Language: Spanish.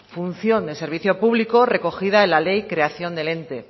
función de servicio público recogida en la ley de creación del ente